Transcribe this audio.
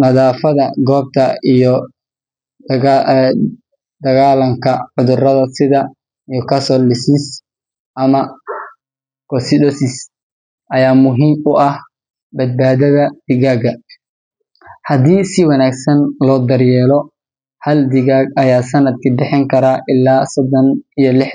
maadaama dadka badankood ay doorbidaan cunto dabiici ah. Intaa waxaa dheer, mobile apps iyo farm management software ayaa caawiya beeraleyda si ay ula socdaan dalagyadooda, qiimaha suuqa, iyo saadaasha cimilada. Tusaale ahaan, hal beeraley oo leh afar hektar oo dhul ah ayaa maanta awoodaya inuu la.